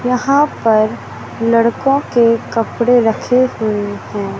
यहां पर लड़कों के कपड़े रखे हुए है।